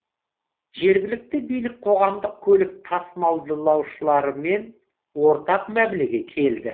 жергілікті билік қоғамдық көлік тасымалдаушылармен ортақ мәмілеге келді